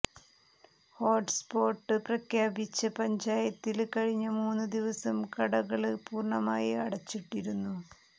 hotspot പ്രഖ്യാപിച്ച പഞ്ചായത്തില് കഴിഞ്ഞ മൂന്ന് ദിവസം കടകള് പൂര്ണ്ണമായി അടച്ചിട്ടിരുന്നു